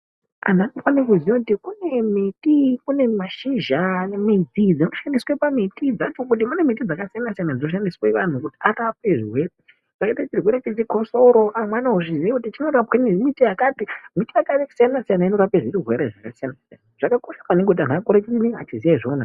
Anhu anofanire kuziya kuti kune miti , kune mashizha anemiti dzinoshandiswe pamiti dzacho kuti kune miti yakasiyana siyana dzinoshandiswe vanhu kuti arapwe zvirwere, zvakaite chirwere chechikosoro amwe anozviziye kuti chinorapwe nemiti yakati, miti yakatosiyana siyana inorape zvirwere zvakasiyana siyana zvakakosha maningi kuti akure chinyi achiziye izvona.